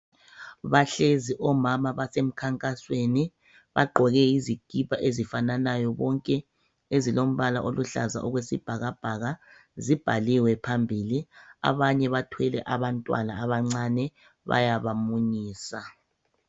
Bahlezi omama basemkhankasweni bagqoke izikipa ezifananayo bonke ezilombala oluhlaza okwesibhakabhaka ibhaliwe phambili. Abanye bathwele abantwana abancane bayabamunyisa.